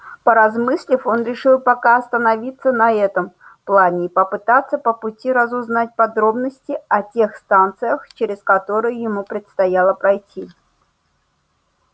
поразмыслив он решил пока остановиться на этом плане и попытаться по пути разузнать подробности о тех станциях через которые ему предстояло пройти